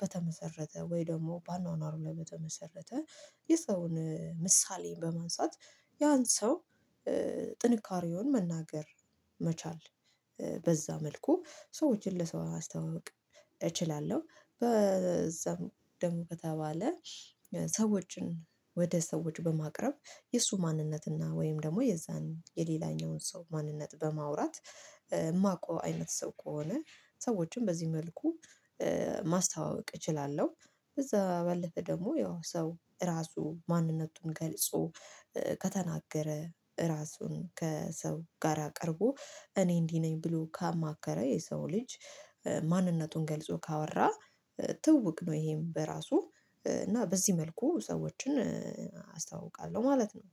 በተመሰረተ ወይ ደግሞ በአኗኗሩ ላይ በተመሰረተ የሰውን ምሳሌን በማንሳት ያን ሰው ጥንካሬውን መናገር መቻል በዛ መልኩ ሰዎችን ለሰው ማስተዋወቅ እችላለሁ በዛም ደግሞ ከተባለ ሰዎችን ወደ ሰዎች በማቅረብ የእሱ ማንነት እና ወይም ደግሞ የዛን የሌላኛውን ሰው ማንነት በማውራት እማቀው አይነት ሰው ከሆነ ሰዎችን በዚህ መልኩ ማስተዋወቅ እችላለሁ እዛ ባለፈ ደግሞ ያው ሰው ራሱ ማንነቱን ገልጾ ከተናገረ ራሱን ከሰው ጋራ ቀርቦ እኔ እንዲህ ነኝ ብሎ ካማከረ የሰው ልጅ ማንነቱን ገልጾ ካወራ ትውውቅ ነው ይሄም በራሱ እና በዚህ መልኩ ሰዎችን አስተዋውቃለሁ ማለት ነው